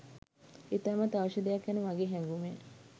ඉතාමත් අවශ්‍ය දෙයක් යනු මගේ හැඟුමය.